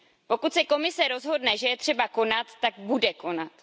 Pokud se Komise rozhodne, že je třeba konat, tak bude konat.